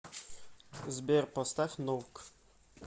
сбер поставь ноук